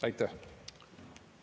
Aitäh!